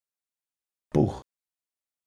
Puh!